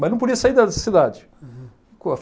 Mas não podia sair da cidade.